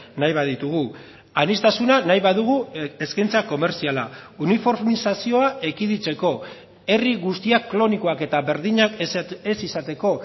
nahi baditugu aniztasuna nahi badugu eskaintza komertziala uniformizazioa ekiditeko herri guztiak klonikoak eta berdinak ez izateko